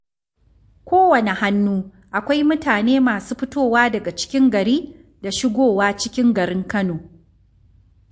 Kowane hannu akwai mutane masu fitowa daga cikin gari da shigowa cikin garin Kano